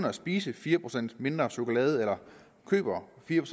at spise fire procent mindre chokolade eller køber fire